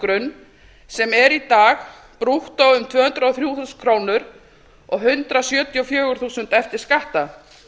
lágmarksframfærslugrunn sem er í dag brúttó um tvö hundruð og þrjú þúsund krónur og hundrað sjötíu og fjögur þúsund eftir skatta